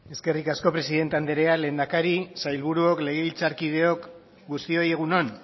eskerrik asko presidente andrea lehendakari sailburuok legebiltzarkideok guztioi egun on